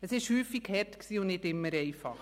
Es war häufig hart und nicht immer einfach.